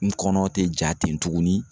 N kɔnɔ te ja ten tuguni